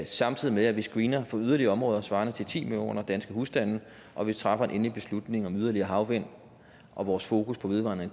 samtidig med at vi screener yderligere områder svarende til ti millioner danske husstande og vi træffer en endelig beslutning om yderligere havvind og vores fokus på vedvarende